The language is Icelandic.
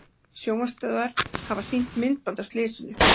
Sjónvarpsstöðvar hafa sýnt myndband af slysinu